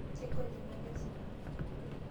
Kegol ina kesipa.